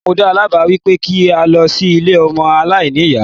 Mo dáa lá báà wípé kí a lọ sí ilé ọmọ aláìní ìyá.